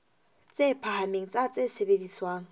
tse phahameng tsa tse sebediswang